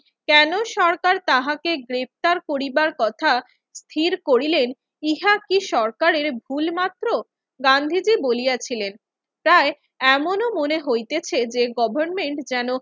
কেন সরকার তাহাকে গ্রেফতার করিবার কথা স্থির করিলেন ইহা কি সরকারের ভুল মাত্র? গান্ধীজি বলিয়াছিলেন, তাই এমনও মনে হইতেছে যে গভর্নমেন্ট যেন